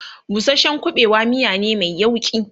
busashen ƙuɓewa miya ne Mai yauƙi